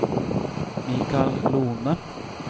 Mikael Lohne